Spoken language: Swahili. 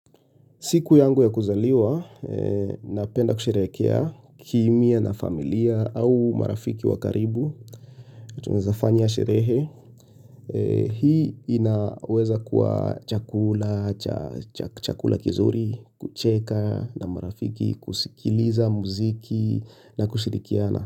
Siku yangu ya kuzaliwa, napenda kusherehekea kimya na familia au marafiki wakaribu. Tunawezafanya sherehe. Hii inaweza kuwa chakula, chakula kizuri, kucheka na marafiki, kusikiliza mziki na kushirikiana.